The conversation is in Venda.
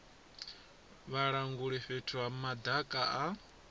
vhalanguli fhethu ha madaka a